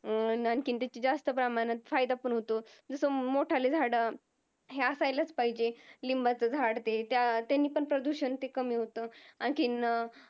अं आणखीन त्याचा जास्त प्रमाणात फायदा पण होतो जसा मोठाले झाड हे असायलाच पाहिजेत, निंबाचं झाड ते त्यांन पण प्रदूषण कमी होत. आणखीन